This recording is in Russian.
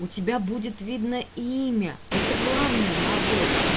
у тебя будет видно имя это главное на обложке